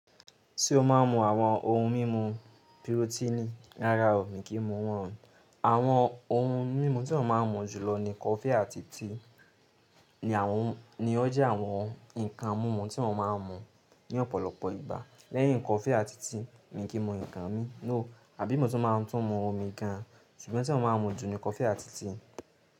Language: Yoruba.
Tí ó má a ń mú àwọn ohun mímu pirotíìnì rárá o, mi kì í mu wọ́n. Àwọn ohun mímu tí mo má a ń mú jùlọ ni coffee àti tea. Ni àwọn, ni ó jẹ́ àwọn ǹkan mímu tí mo má a ń mú ní ọ̀pọ̀lọpọ̀ ìgbà. Lẹ́yìn coffee àti tea mi kì ń mú ǹkan mi. No, àbí mo tún máa ń tún mú omi gan an. Ṣùgbọ́n tí wọ́n má a ń mú jù ni kọfí àti tíì.